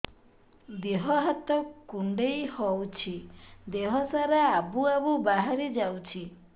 ଦିହ ହାତ କୁଣ୍ଡେଇ ହଉଛି ଦିହ ସାରା ଆବୁ ଆବୁ ବାହାରି ଯାଉଛି